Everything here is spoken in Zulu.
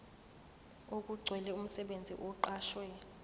okugcwele umsebenzi oqashwe